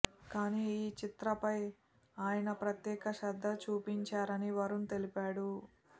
కానీ ఈ చిత్రపై ఆయన ప్రత్యేక శ్రద్ద చూపించారని వరుణ్ తెలిపాడు